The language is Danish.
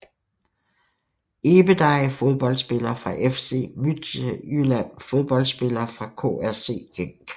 Ebedei Fodboldspillere fra FC Midtjylland Fodboldspillere fra KRC Genk